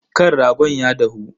Kan ragon ya dahu?